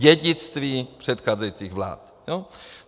Dědictví předcházejících vlád.